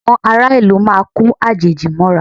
Àwọn ará ìlú máa ko àjèjì mọ́ra